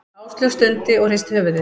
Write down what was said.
Áslaug stundi og hristi höfuðið.